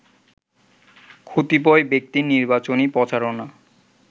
কতিপয় ব্যক্তির নির্বাচনী প্রচারণা